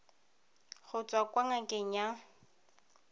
go tswa kwa ngakeng ya